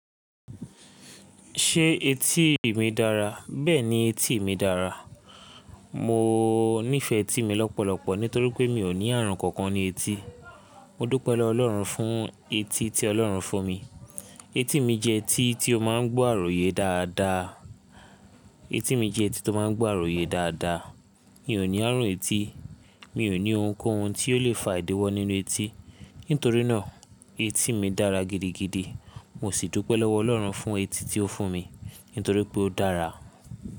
Ṣé etí mi dára? Bẹ́ẹ̀ni, etí mi dára. Mo nífẹ etí mi lọ́pọ̀lọpọ̀ nítorí pé mi ò ní ààrùn kankan ní etí. Mo dúpẹ́ lowọ́ Ọlọ́run fún etí tí Ọlọ́run fún mi. Etí mi jẹ́ etí tí ó máa ń gbọ́ àròyé dáadáa. Etí mi jẹ́ etí tó máa ń gbọ́ àròyé dáadáa. Mi ò ní ààrùn etí. Mi ò ní ohunkóhun tí ó lè fà ìdíwọ́ nínú etí. Nítorí náà, etí mi dára gidigidi. Mo sì dúpẹ́ lọ́wọ́ Ọlọ́run fún etí tí ó fún mi, nítorí pé ó dára.